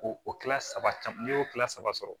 Ko o kila saba n'i y'o kilan saba sɔrɔ